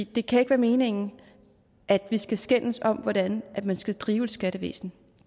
det kan ikke være meningen at vi skal skændes om hvordan man skal drive et skattevæsen